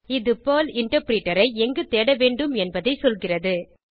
இது Perl interpreter ஐ எங்கு தேட வேண்டிம் என்பதை சொல்கிறது